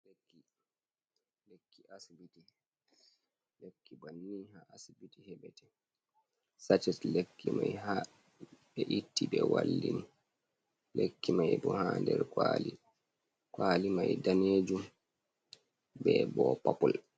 Lekki asibiti. Lekki banni haa asibiti heɓete. Saches lekki mai haa ɓe itti ɓe wallini. Lekki mai bo haa nder kwali, kwali mai daneejum be bo popul.